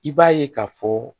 I b'a ye k'a fɔ